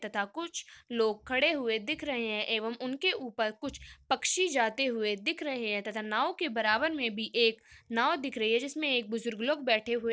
तथा कुछ लोग खड़े हुए दिख रहे हैं एवं उनके ऊपर कुछ पच्छी जाते हुए दिख रहे हैं तथा नाव के बराबर में भी एक नाव दिख रही है जिसमें एक बुजुर्ग लोग बैठे हुए --